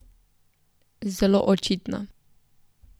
Zelo očitna.